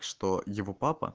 что его папа